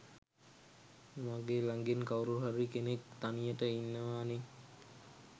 මගෙ ළඟින් කවුරු හරි කෙනෙක් තනියට ඉන්නවනෙ.